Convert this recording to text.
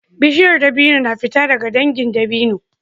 Bishiyar dabino ta fito daga dangin dabino